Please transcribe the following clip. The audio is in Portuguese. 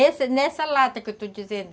Nesse nessa lata que eu estou dizendo.